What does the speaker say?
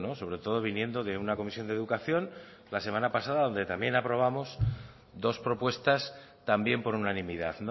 sobretodo viniendo de una comisión de educación la semana pasada donde también aprobamos dos propuestas también por unanimidad